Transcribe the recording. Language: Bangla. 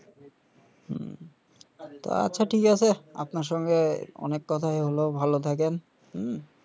হুম তো আচ্ছা ঠিক আছে আপনার সঙ্গে অনেক কথাই হল ভাল থাকেন হুম